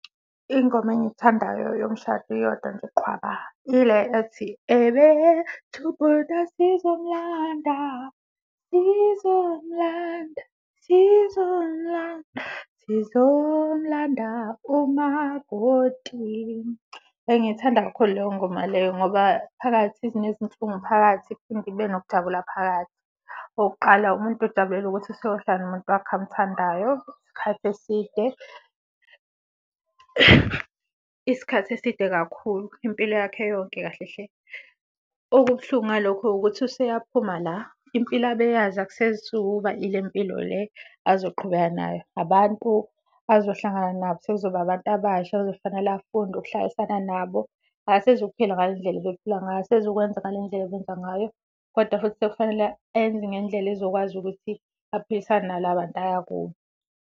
Ingoma engiyithandayo yomshado iyodwa nje qhwaba ile ethi, ebethi ubhuti asizomlanda, sizomlanda sizomlanda sizomlanda umakoti. Ngiyithanda kakhulu leyo ngoma leyo ngoba phakathi sinezinhlungu phakathi, iphinde ibe nokujabula phakathi. Okokuqala, umuntu ujabulela ukuthi useyohlala nomuntu wakhe amthandayo isikhathi eside isikhathi eside kakhulu impilo yakhe yonke kahle hle. Okubuhlungu ngalokho-ke ukuthi useyaphuma la, impilo abe yazi akusezukuba ile mpilo le azoqhubeka nayo. Abantu azohlangana nabo sekuzoba abantu abasha ekuzofanele afunde ukuhlalisana nabo. Akasezukuphila ngale ndlela abephila ngayo, akasezukwenza ngale ndlela ebenza ngayo kodwa futhi sekufanele enze ngendlela ezokwazi ukuthi aphilisane nala bantu aya kubo.